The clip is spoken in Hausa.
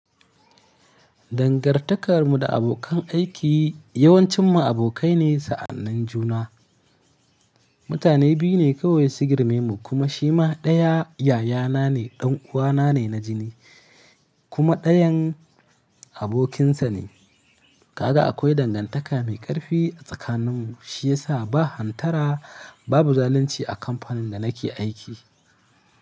Dangantakar mu da abokan aiki yawancin mu abokai ne sa'annin juna. Mutane biyu ne kawai su girme mu kuma shi ma ɗaya yayana ne, ɗan uwana ne na jini kuma ɗayan abokinsa ne. Kaga akwai dangantaka mai ƙarfi a tsakanin mu shiyasa ba hantara babu zalunci a kamfanin da nake aiki.